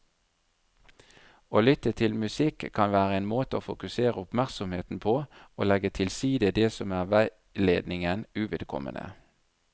Å lytte til musikk kan være en måte å fokusere oppmerksomheten på og legge til side det som er veiledningen uvedkommende.